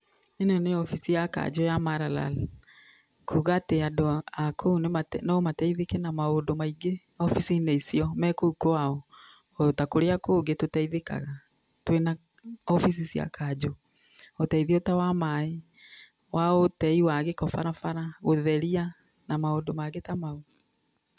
Ĩno nĩ wabici ya kanjũ ya Maralal, kuga atĩ andũ a kũu no mateithĩke na maũndũ maingĩ wabici-inĩ icio me kũu kwao, o ta kũrĩa kũngĩ tũteithĩkaga twĩna wabici cia kanjũ. Ũteithio ta wa maaĩ, wa ũtei wa gĩko barabara, ũtheria na maũndũ mangĩ ta mau.